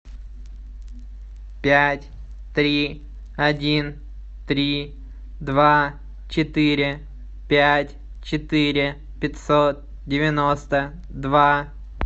пять три один три два четыре пять четыре пятьсот девяносто два